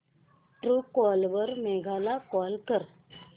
Truecaller वर मेघा ला call कर